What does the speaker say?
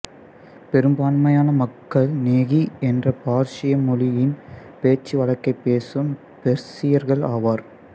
பெரும்பான்மையான மக்கள் நேகி என்ற பார்சி மொழியின் பேச்சுவழக்கைப் பேசும் பெர்சியர்கள் ஆவர்